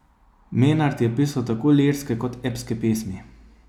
Menart je pisal tako lirske kot epske pesmi.